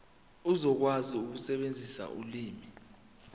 uzokwazi ukusebenzisa ulimi